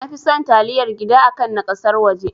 Nafi son taliyar gida akan na ƙasar waje